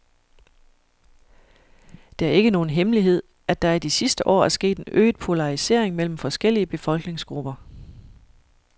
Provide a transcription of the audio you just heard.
Det er ikke nogen hemmelighed, at der i de sidste år er sket en øget polarisering mellem forskellige befolkningsgrupper.